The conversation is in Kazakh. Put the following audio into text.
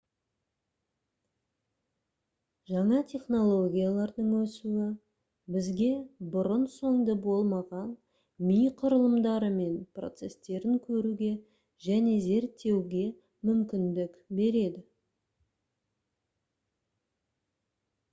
жаңа технологиялардың өсуі бізге бұрын-соңды болмаған ми құрылымдары мен процестерін көруге және зерттеуге мүмкіндік береді